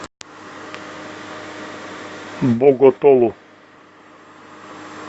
боготолу